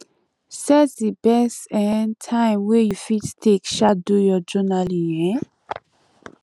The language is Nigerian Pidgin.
set di best um time wey you fit take um do your journalling um